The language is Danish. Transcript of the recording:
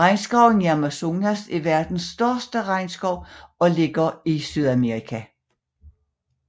Regnskoven i Amazonas er verdens største regnskov og ligger i Sydamerika